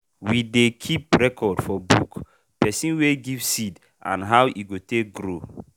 we dey keep record for book person wey give seed and how e go take grow.